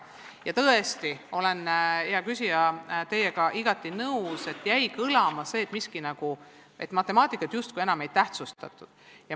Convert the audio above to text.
Ja tõesti, hea küsija, olen teiega igati nõus, et kõlama jäi see, et matemaatikat justkui enam ei tähtsustataks.